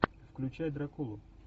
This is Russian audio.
включай дракулу